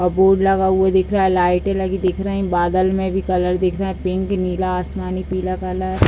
board लगा हुआ दिख रहा है लाइटें लगी दिख रही है बादल मे भी कलर दिख रहा है पिंक नीला आसमानी पीला कलर --